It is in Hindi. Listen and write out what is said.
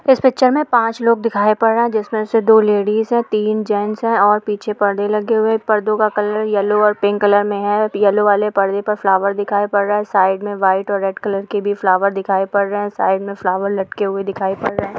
इस पिक्चर में पांच लोग दिखाई पड़ रहे हैं जिसमें से दो लेडिस है तीन जेंट्स है और पीछे परदे लगे हुए हैं दो का कलर येलो और पिंक कलर में है येलो वाले परदे में फ्लावर्स दिखाई पड़ रहे हैं साइड में व्हाइट और रेड कलर के भी फ्लावर्स दिखाई पड़ रहे हैं साइड में फ्लावर्स लटके हुए दिखाई पड़ रहे हैं।